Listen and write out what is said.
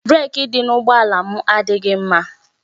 Breeki dị n'ụgbọ ala m adịghị mma